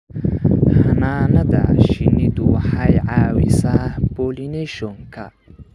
Xannaanada shinnidu waxay caawisaa pollination-ka.